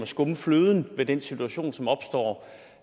skumme fløden i den situation som opstår